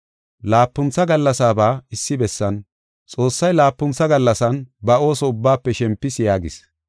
Laapuntha gallasaaba issi bessan, “Xoossay laapuntha gallasan ba ooso ubbaafe shempis” yaagis.